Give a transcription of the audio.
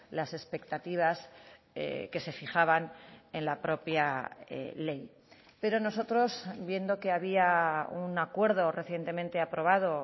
las expectativas que se fijaban en la propia ley pero nosotros viendo que había un acuerdo recientemente aprobado